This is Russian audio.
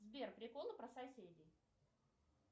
сбер приколы про соседей